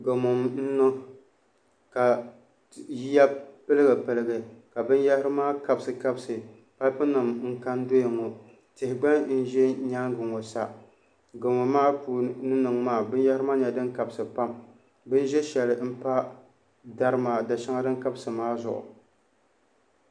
Gamo n niŋ ka yiya piligi piligi ka binyahari maa kabisi kabisi paip nim n ka n doya ŋɔ tihi gba n ʒɛ nyaangi ŋɔ sa gamo maa ni niŋ maa binyahari maa nyɛla din kabisi pam bin ʒiɛ shɛli n pa da shɛŋa din kabisi maa zuɣu